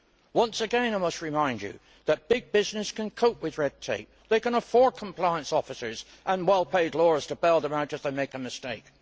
Once again I must remind you that big business can cope with red tape and can afford compliance officers and well paid lawyers to bail them out if they make a mistake.